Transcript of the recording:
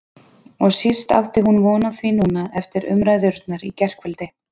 Og síst átti hún von á því núna eftir umræðurnar í gærkvöldi.